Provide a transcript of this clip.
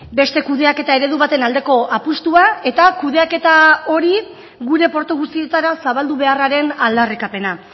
beste kudeaketa eredu baten aldeko apustua eta kudeaketa hori gure portu guztietara zabaldu beharraren aldarrikapena